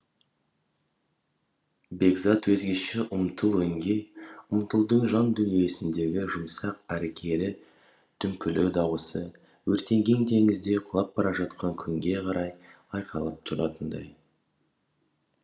бекзат өзгеше ұмтыл өңге ұмтылдың жандүниесіндегі жұмсақ әрі кері дүмпулі дауысы өртенген теңізге құлап бара жатқан күнге қарай айқайлап тұратындай